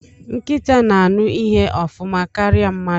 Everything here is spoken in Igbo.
Nkịta na-aṅụ ihe ofuma karịa mmadụ.